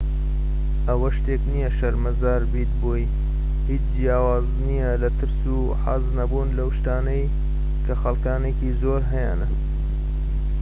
ئەوە شتێك نیە شەرمەزار بیت بۆی هیچ جیاواز نیە لە ترس و حەز نەبوون لەو شتانەی کە خەلکانێکی زۆر هەیانە